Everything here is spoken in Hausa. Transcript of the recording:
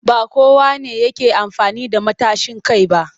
Ba kowa ne yake amfani da matashin kai ba